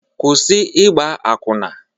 Kwụsị ịgba akwụna!